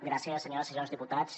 gràcies senyores i senyors diputats